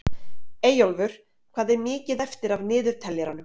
Eyjólfur, hvað er mikið eftir af niðurteljaranum?